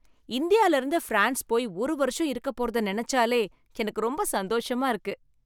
இந்தியாலருந்து France போயி ஒரு வருஷம் இருக்கப்போறதை நினைச்சாலே எனக்கு ரொம்ப சந்தோஷமா இருக்கு